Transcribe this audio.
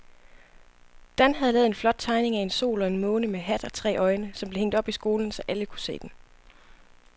Dan havde lavet en flot tegning af en sol og en måne med hat og tre øjne, som blev hængt op i skolen, så alle kunne se den.